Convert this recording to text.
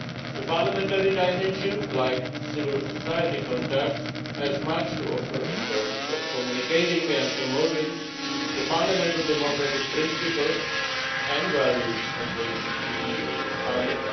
The parliamentary dimension like civil society contacts has much to offer in terms of communicating and promoting the fundamental democratic principles and values on which the EU is founded.